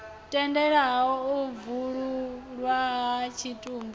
tendelaho u bwululwa ha tshitumbu